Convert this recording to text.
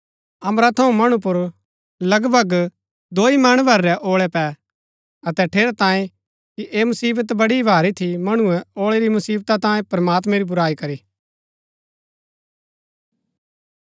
अम्बरा थऊँ मणु पुर लगभग दोई मण भर रै औळै पै अतै ठेरैतांये कि ऐह मुसीबत बड़ी ही भारी थी मणुऐ औळै री मुसिवता तांयें प्रमात्मैं री बुराई करी